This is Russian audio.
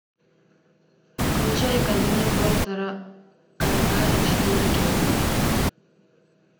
включай кабинет доктора калигари четыре кей